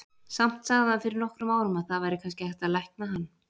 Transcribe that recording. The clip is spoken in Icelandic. Samt sagði hann fyrir nokkrum árum að það væri kannski hægt að lækna hann.